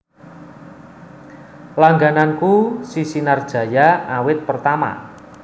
Langgananku si Sinar Jaya awit pertama